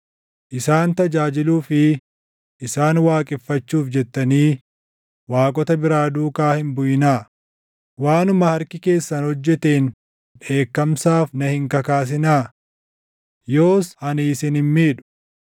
Isaan tajaajiluu fi isaan waaqeffachuuf jettanii waaqota biraa duukaa hin buʼinaa; waanuma harki keessan hojjeteen dheekkamsaaf na hin kakaasinaa. Yoos ani isin hin miidhu.”